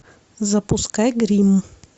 запускай гримм